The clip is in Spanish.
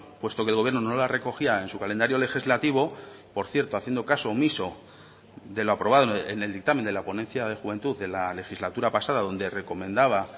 puesto que el gobierno no la recogía en su calendario legislativo por cierto haciendo caso omiso de lo aprobado en el dictamen de la ponencia de juventud de la legislatura pasada donde recomendaba